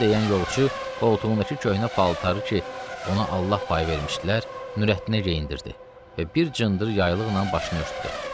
Bunu deyən yolçu qoltuğundakı köhnə paltarı ki, ona Allah payı vermişdilər, Nurəddinə geyindirdi və bir cındır yaylıqla başını örtdü.